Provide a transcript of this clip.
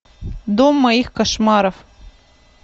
дом моих кошмаров